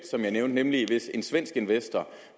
som jeg nævnte nemlig hvis en svensk investor